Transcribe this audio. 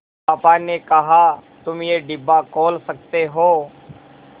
पापा ने कहा तुम ये डिब्बा खोल सकते हो